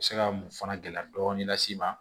Se ka mun fana gɛlɛya dɔɔnin las'i ma